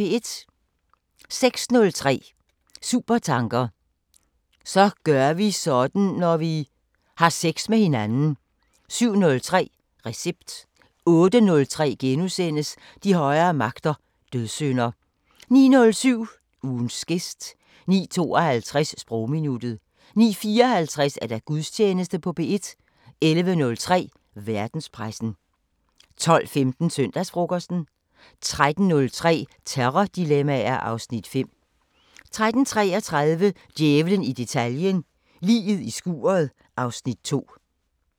06:03: Supertanker: Så gør vi sådan, når vi ... har sex med hinanden 07:03: Recept 08:03: De højere magter: Dødssynder * 09:07: Ugens gæst 09:52: Sprogminuttet 09:54: Gudstjeneste på P1 11:03: Verdenspressen 12:15: Søndagsfrokosten 13:03: Terrordilemmaer (Afs. 5) 13:33: Djævlen i detaljen – Liget i skuret (Afs. 2)